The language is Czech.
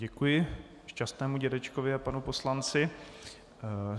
Děkuji šťastnému dědečkovi a panu poslanci.